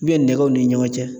nɛgɛw ni ɲɔgɔn cɛ